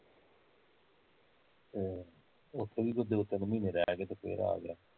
ਹਮ, ਓਥੇ ਵੀ ਏਹ ਦੋ ਤਿੰਨ ਮਹੀਨੇ ਰਹਿਕੇ ਤੇ ਫੇਰ ਆ ਗਿਆ